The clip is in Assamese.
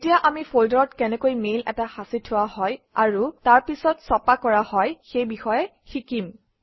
এতিয়া আমি ফল্ডাৰত কেনেকৈ মেইল এটা সাঁচি থোৱা হয় আৰু তাৰ পিছত ছপা কৰা হয় সেই বিষয়ে শিকিম